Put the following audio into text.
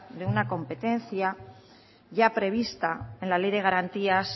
de una competencia ya prevista en la ley de garantías